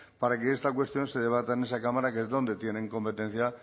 para que esta cuestión se debata en esa cámara que es donde tienen competencia